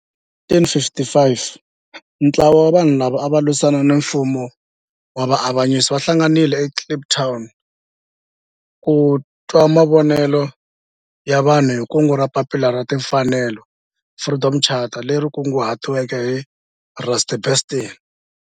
Hi 1955 ntlawa wa vanhu lava ava lwisana na nfumo wa avanyiso va hlanganile eKliptown ku twa mavonelo ya vanhu hi kungu ra Papila ra Tinfanelo, Freedom Charter leri kunguhatiweke hi Rusty Bernstein.